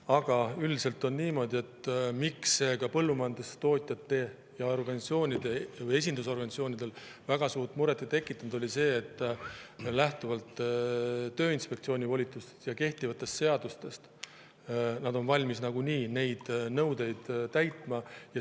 Aga üldiselt on niimoodi ja seetõttu see ka põllumajandustootjates ja esindusorganisatsioonides väga suurt muret ei tekitanud, et lähtuvalt Tööinspektsiooni volitustest ja kehtivatest seadustest on nagunii valmis neid nõudeid täitma.